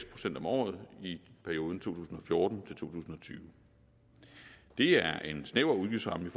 procent om året i perioden to tusind og fjorten til to tusind og tyve det er en snæver udgiftsramme